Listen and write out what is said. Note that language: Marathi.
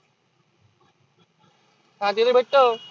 हा ते तर भेटतं.